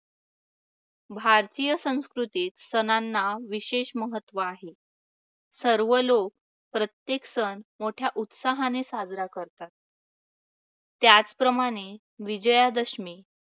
भारतीय संस्कृतीत सणांना विशेष महत्त्व आहे. सर्व लोक प्रत्येक सण मोठ्या उत्साहाने साजरा करतात. त्याचप्रमाणे विजयादशमी